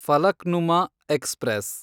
Falaknuma express